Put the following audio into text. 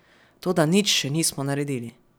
Toda nič še nismo naredili.